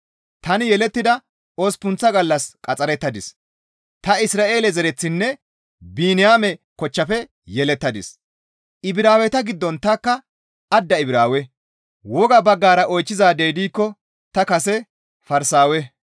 Tani yelettida osppunththa gallas qaxxarettadis; ta Isra7eele zereththinne Biniyaame kochchafe yelettadis; Ibraaweta giddon tanikka adda Ibraawe; woga baggara oychchizaadey diikko ta kase Farsaawe.